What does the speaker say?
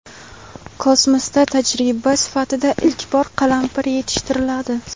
Kosmosda tajriba sifatida ilk bor qalampir yetishtiriladi.